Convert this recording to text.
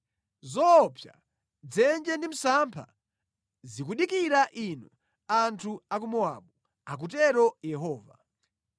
Zoopsa, dzenje ndi msampha zikudikira inu anthu a ku Mowabu,” akutero Yehova.